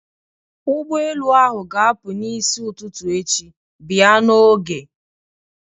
Ụgbọelu ahụ ga-apụ n'isi ụtụtụ echi, bịa n'oge!